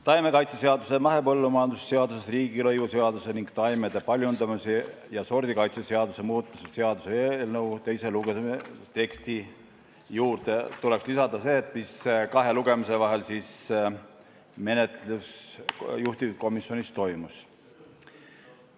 Taimekaitse seaduse, mahepõllumajanduse seaduse, riigilõivuseaduse ning taimede paljundamise ja sordikaitse seaduse muutmise seaduse eelnõu teise lugemise teksti juurde tuleks lisada see, mis kahe lugemise vahel juhtivkomisjonis toimus.